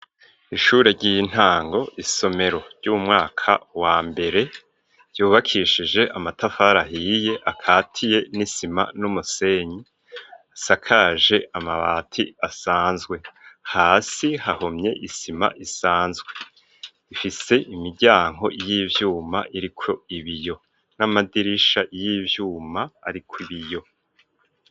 Ishure ry'intango, isomero ry'umwaka wa mbere yubakishije amatafari ahiye akatiye n'isima n'umusenyi ,asakaje amabati asanzwe hasi hahomye isima isanzwe ,ifise imiryango y'ivyuma iriko ibiyo n'amadirisha y'ivyuma ariko ibiyo.